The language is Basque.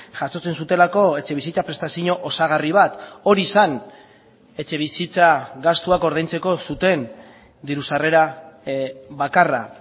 jasotzen zutelako etxebizitza prestazio osagarri bat hori zen etxebizitza gastuak ordaintzeko zuten diru sarrera bakarra